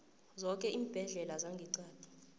zoke iimbhedlela zangeqadi